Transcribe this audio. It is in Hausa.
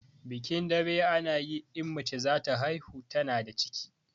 Bikin daɓe ana yi in mace zata haihu tana da ciki